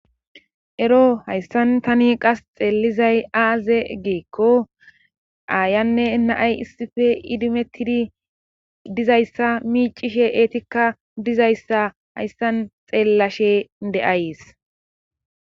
ero hayssan tani qasi xeelizay aaze giikko aayanne na7ay issife idimettidi dizayssa miicishe eetikka dizayssa hayssan xeellashe de7ays